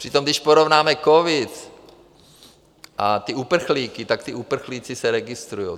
Přitom když porovnáme covid a ty uprchlíky, tak ti uprchlíci se registrují.